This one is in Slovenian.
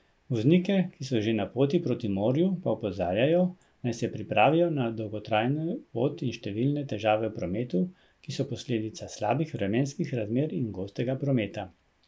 Voznike, ki so že na poti proti morju, pa opozarjajo, naj se pripravijo na dolgotrajno pot in številne težave v prometu, ki so posledica slabih vremenskih razmer in gostega prometa.